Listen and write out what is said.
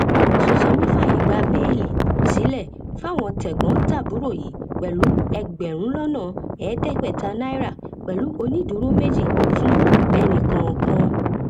òsùnsànmí fààyè bẹẹlí sílẹ fáwọn tẹgbọntàbúrò yìí pẹlú ẹgbẹrún lọnà ẹẹdẹgbẹta náírà pẹlú onídùúró méjì fún ẹnìkọọkan